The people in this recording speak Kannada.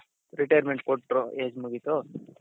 retirement ಕೊಟ್ರು age ಮುಗಿತು